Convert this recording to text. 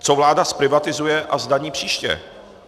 Co vláda zprivatizuje a zdaní příště?